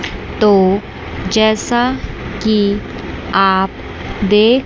तो जैसा कि आप देख--